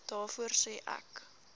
daarvoor sê ek